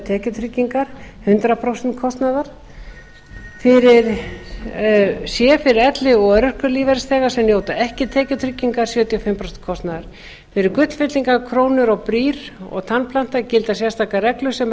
tekjutryggingar hundrað prósent kostnaðar c fyrir elli og örorkulífeyrisþega sem njóta ekki tekjutryggingar sjötíu og fimm prósent kostnaðar fyrir gullfyllingar krónur brýr og tannplanta gilda sérstakar reglur sem